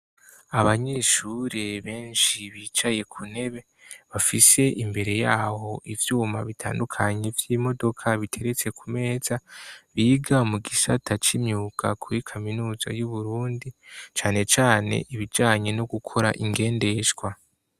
Abanyeshuri benshi bicaye ku ntebe, bafise imbere yawo ivyuma bitandukanye vy'imodoka biteretse ku meza, biga mu gisata c'imyuka kuri kaminuza y'Uburundi cane cane ibijanye no gukora ingendeshwa.